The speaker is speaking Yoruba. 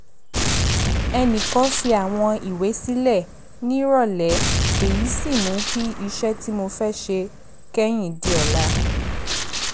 ẹnì kan fi àwọn ìwé sílẹ̀ nírọ̀lẹ́ èyí sì mú kí iṣẹ́ tí mo fẹ́ ṣe kẹ́yìn di ọ̀la